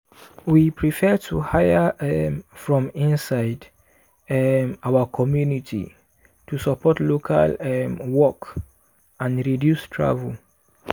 we prefer to hire um from inside um our community to support local um work and reduce travel.